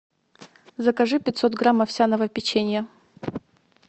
закажи пятьсот грамм овсяного печенья